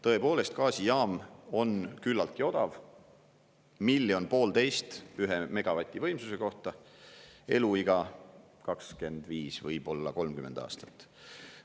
Tõepoolest, gaasijaam on küllaltki odav: 1,5 miljonit eurot ühe megavati võimsuse kohta, eluiga 25, võib-olla 30 aastat.